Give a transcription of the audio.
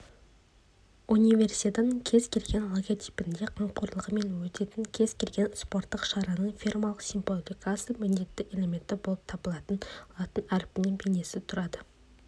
универсиаданың кез келген логотипінде қамқорлығымен өтетін кез келген спорттық шараның фирмалық символикасының міндетті элементі болып табылатын латын әрпінің бейнесі тұрады